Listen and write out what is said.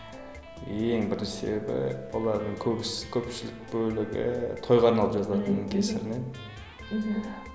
ең бірінші себебі олардың көбісі көпшілік бөлігі тойға арналып жазылатынның кесірінен мхм